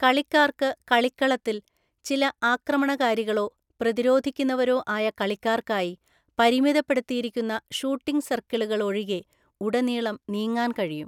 കളിക്കാർക്ക് കളിക്കളത്തില്‍, ചില ആക്രമണകാരികളോ പ്രതിരോധിക്കുന്നവരോ ആയ കളിക്കാര്‍ക്കായി പരിമിതപ്പെടുത്തിയിരിക്കുന്ന 'ഷൂട്ടിംഗ് സർക്കിളു'കൾ ഒഴികെ, ഉടനീളം നീങ്ങാൻ കഴിയും,